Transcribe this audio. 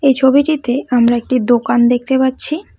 এই ছবিটিতে আমরা একটি দোকান দেখতে পাচ্ছি।